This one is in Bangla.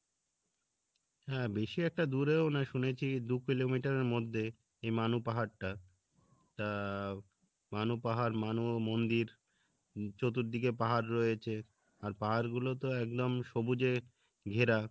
হ্যাঁ বেশি একটা দূরেও না শুনেছি দু কিলোমিটার এর মধ্যে এ মানু পাহাড়টা তা মানু পাহাড় মানু মন্দির চতুর্দিকে পাহাড় রয়েছে আর পাহাড়গুলো তো একদম সুবুজে ঘেরা